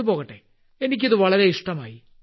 അത്പോകട്ടെ എനിക്കിത് വളരെ ഇഷ്ടമായി